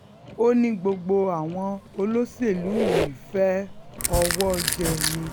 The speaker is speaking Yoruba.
ó ní gbogbo àwọn olóṣèlú yìí fẹ́ẹ́ owó jẹ ni